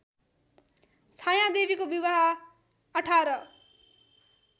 छायादेवीको विवाह १८